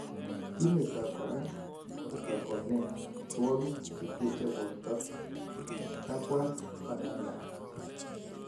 Kimeto koraa borto koneet amitwokik cheteche borto," kabwaat Fernanda